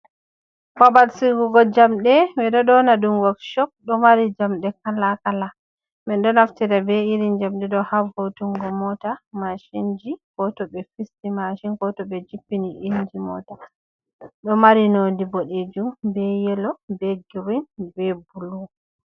Babal sigugo jamɓe, ɓe do ƴoona ɗum wokshop. Ɗo mari jamɗe kala-kala. Men ɗo naftira be iri jamɗe ɗo ha vo'utungo mota, mashinji, ko to ɓe fisti mashin, ko to ɓe jippini inji mota. Ɗo mari nonde boɗeejum, be yelo, be griin, be blu.